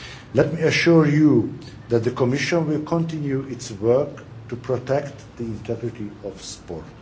Let me assure you that the Commission will continue its work to protect the integrity of sport.